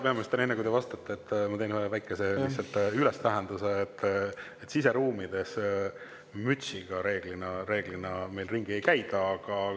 Härra peaminister, enne kui te vastate, ma teen lihtsalt ühe väikese, et reeglina siseruumides mütsiga meil ringi ei käida.